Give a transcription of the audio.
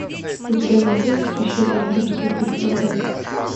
у тебя найдется священная римская кольцевая